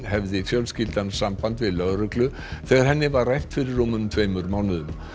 hefði fjölskyldan samband við lögreglu þegar henni var rænt fyrir tveimur mánuðum